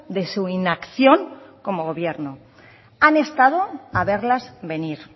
de su inacción como gobierno han estado a verlas venir